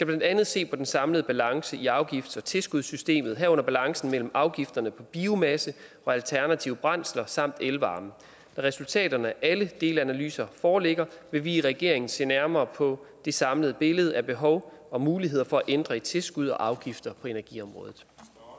blandt andet se på den samlede balance i afgifts og tilskudssystemet herunder balancen mellem afgifter på biomasse og alternative brændsler samt elvarme når resultaterne af alle delanalyser foreligger vil vi i regeringen se nærmere på det samlede billede af behov og muligheder for at ændre i tilskud og afgifter på energiområdet